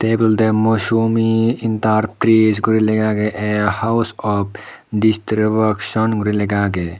ebot olode mousumi enterprise gori lega age a house of distribution gori lega agey.